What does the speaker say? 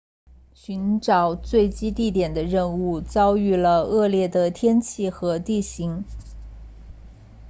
寻找坠机地点的任务遭遇了恶劣的天气和地形